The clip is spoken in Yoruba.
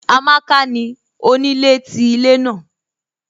Amàkà ni onílẹ̀ tí ilẹ̀ naà